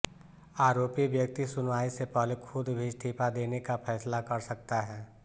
आरोपी व्यक्ति सुनवाई से पहले खुद भी इस्तीफा देने का फैसला कर सकता है